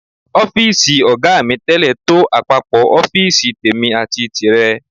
Ọ́fíìsì ọ̀gá mi tẹ́lẹ̀ tó àpapọ̀ ọ́fíìsì tèmi àti tìrẹ.